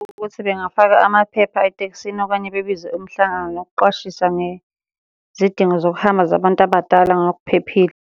Ukuthi bengafaka amaphepha etekisini okanye bebize umhlangano nokuqwashisa ngezidingo zokuhamba zabantu abadala ngokuphephile.